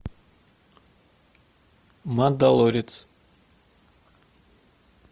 мандалорец